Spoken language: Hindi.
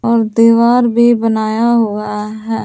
और दीवार भी बनाया हुआ है।